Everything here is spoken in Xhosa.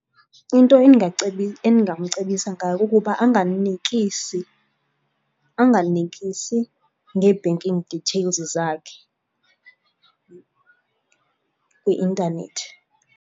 Into endingamcebisa ngayo kukuba anganikisi, anganikisi ngee-banking details zakhe kwi-intanethi.